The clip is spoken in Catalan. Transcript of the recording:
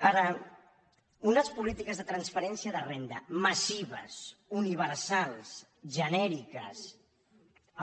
ara unes polítiques de transferència de renda massives universals genèriques